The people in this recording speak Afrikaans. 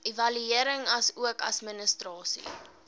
evaluering asook administrasie